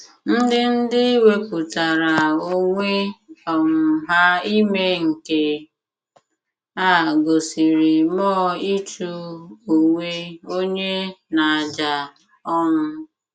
Ndị Ndị wepụtara onwe um ha ime nke a gosiri mmụọ ịchụ onwe onye n’àjà um.